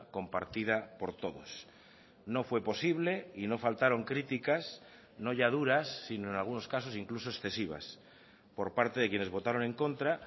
compartida por todos no fue posible y no faltaron críticas no ya duras sino en algunos casos incluso excesivas por parte de quienes votaron en contra